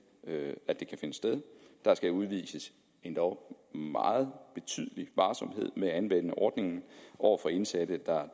kan finde sted der skal udvises endog meget betydelig varsomhed med at anvende ordningen over for indsatte der er